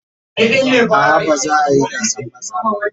A'a ba za a yi gasan maza ba.